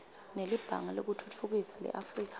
nelibhange lekutfutfukisa leafrika